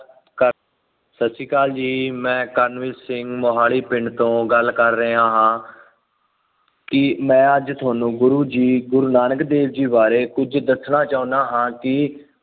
ਕਰ ਸਤਿ ਸ਼੍ਰੀ ਅਕਾਲ ਜੀ ਮੈਂ ਕਰਨਵੀਰ ਸਿੰਘ ਮੁਹਾਲੀ ਪਿੰਡ ਤੋਂ ਗੱਲ ਕਰ ਰਿਹਾ ਹਾਂ। ਕਿ ਮੈਂ ਅੱਜ ਤੁਹਾਨੂੰ ਗੁਰੂ ਜੀ, ਗੁਰੂ ਨਾਨਕ ਦੇਵ ਜੀ ਬਾਰੇ ਕੁੱਝ ਦੱਸਣਾ ਚਾਹੁੰਦਾ ਹਾਂ ਕਿ